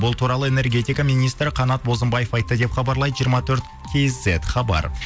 бұл туралы энергетика министрі қанат бозымбаев айтты деп хабарлайды жиырма төрт кизет хабар